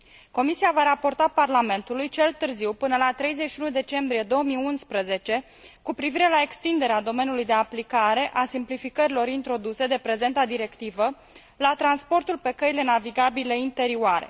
Comisia va raporta Parlamentului cel târziu până la 31 decembrie 2011 cu privire la extinderea domeniului de aplicare a simplificărilor introduse de prezenta directivă la transportul pe căile navigabile interioare.